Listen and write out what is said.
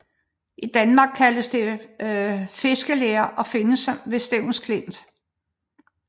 I Danmark kaldes det fiskeler og findes ved Stevns Klint